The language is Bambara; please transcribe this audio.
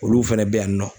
Olu fɛnɛ bɛ yan nɔ